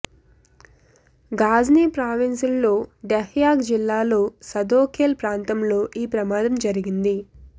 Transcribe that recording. ఘజ్ని ప్రావిన్స్లో డెహ్ యాక్ జిల్లాలో సదోఖేల్ ప్రాంతంలో ఈ ప్రమాదం జరిగింది